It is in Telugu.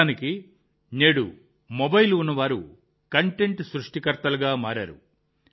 నిజానికి నేడు మొబైల్ ఉన్నవారు కంటెంట్ సృష్టికర్తలుగా మారారు